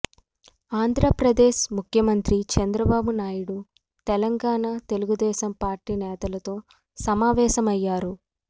ఆంధ్రప్రదేశ్ ముఖ్యమంత్రి చంద్రబాబు నాయుడు తెలంగాణ తెలుగుదేశం పార్టీ నేతలతో సమావేశమయ్యారు